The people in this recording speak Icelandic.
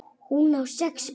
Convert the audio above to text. Hún á sex börn.